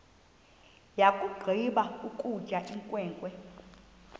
yakugqiba ukutya inkwenkwe